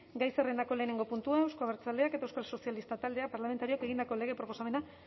gai zerrendako lehenengo puntua euzko abertzaleak eta euskal sozialistak talde parlamentarioek egindako lege proposamena